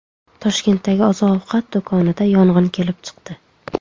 Toshkentdagi oziq-ovqat do‘konida yong‘in kelib chiqdi.